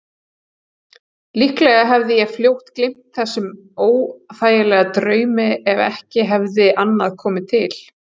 Líklega hefði ég fljótt gleymt þessum óþægilega draumi ef ekki hefði annað komið til.